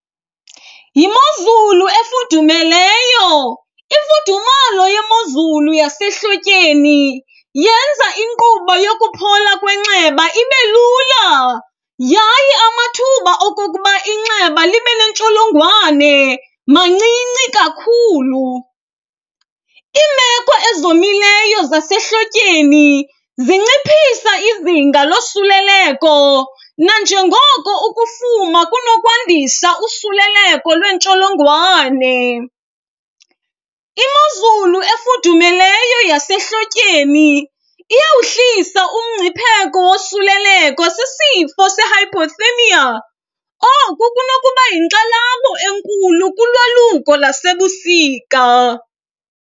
Yimozulu efudumeleyo, imfudumalo yemozulu yasehlotyeni yenza inkqubo yokuphola kwenxeba ibe lula yaye amathuba okokuba inxeba libe neentsholongwane mancinci kakhulu. Iimeko ezomileyo zasehlotyeni zinciphisa izinga losuleleko nanjengoko ukufuma kunokwandisa usuleleko lweentsholongwane. Imozulu efudumeleyo yasehlotyeni iyawuhlisa umgcipheko wosuleleko sisifo se-hypothermia, oku kunokuba yinkxalabo enkulu kulwaluko lasebusika.